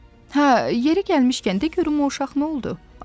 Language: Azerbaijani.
Hə, yeri gəlmişkən, de görüm o uşaq nə oldu?